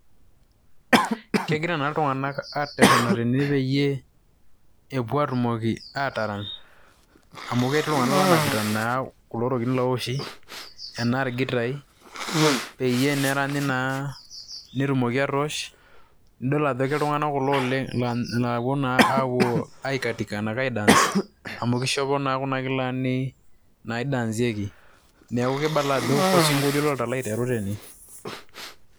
Kegira naa iltung'anak arrerrena tene peyie, epuo atumoki atarany amu ketii iltung'anak onapita kulo tokiting' lowoshi, enaa gitai, peyie neranyi naa netumoki atoosh. Nidol ake ajo iltung'anak kulo oleng' la puo na apuo aikatika enaa ai dance ,amu kishopo naa kuna kilani n naidanzieki. Neeku kibala ajo kosinkolio oloito alo aiteru tene.